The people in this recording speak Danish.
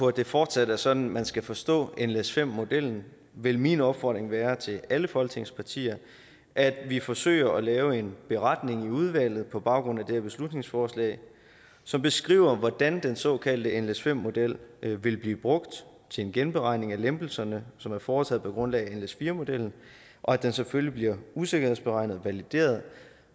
at det fortsat er sådan man skal forstå nles5 modellen vil min opfordring være til alle folketingets partier at vi forsøger at lave en beretning i udvalget på baggrund af det her beslutningsforslag som beskriver hvordan den såkaldte nles5 model vil blive brugt til en genberegning af lempelserne som er foretaget på grundlag af nles4 modellen og at den selvfølgelig bliver usikkerhedsberegnet og valideret